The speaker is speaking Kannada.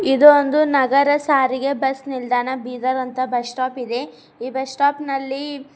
ಇದು ಒಂದು ನಗರ ಸಾರಿಗೆ ಬಸ್ ನಿಲ್ದಾಣ ಬೀದರ್ ಅಂತ ಬಸ್ ಸ್ಟಾಪ್ ಇದೆ ಈ ಬಸ್ ಸ್ಟಾಪ್ ನಲ್ಲಿ--